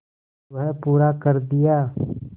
वह पूरा कर दिया